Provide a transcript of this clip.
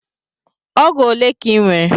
Ọgụ ole ka Ị nwere?